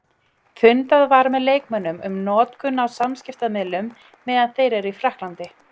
Fundað var með leikmönnum um notkun á samskiptamiðlum meðan þeir eru í Frakklandi.